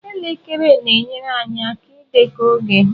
Elekere na-enyere anyị aka ịdekọ oge.